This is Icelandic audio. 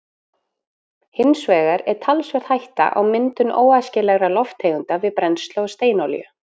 Hins vegar er talsverð hætta á myndun óæskilegra lofttegunda við brennslu á steinolíu.